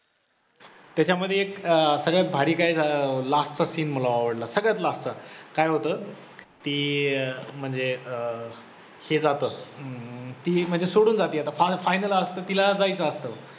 त्याच्यामध्ये एक अं सगळ्यात भारी काय अं last चा scene मला आवडला, सगळ्यात last चा, काय होतं ती अं म्हणजे अं अं ती म्हणजे सोडून जाते आता final असतं तिला जायचं असत.